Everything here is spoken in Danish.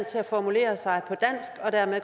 så